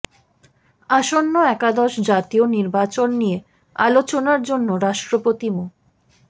আসন্ন একাদশ জাতীয় নির্বাচন নিয়ে আলোচনার জন্য রাষ্ট্রপতি মো